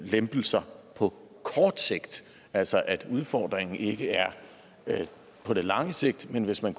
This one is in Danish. lempelser på kort sigt altså at udfordringen ikke er på det lange sigt men hvis man